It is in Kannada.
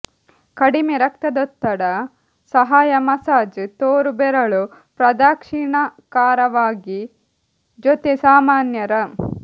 ಕಡಿಮೆ ರಕ್ತದೊತ್ತಡ ಸಹಾಯ ಮಸಾಜ್ ತೋರು ಬೆರಳು ಪ್ರದಕ್ಷಿಣಾಕಾರವಾಗಿ ಜೊತೆ ಸಾಮಾನ್ಯರ